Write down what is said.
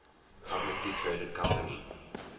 publicly traded company